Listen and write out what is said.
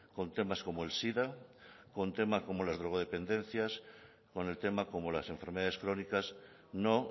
con temas como el sida con temas como las drogodependencias con el tema como las enfermedades crónicas no